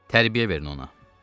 Tərbiyə verin ona.